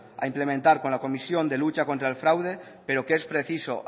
a implementar con la comisión de lucha contra el fraude pero que es preciso